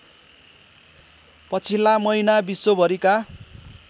पछिल्ला महिना विश्वभरिका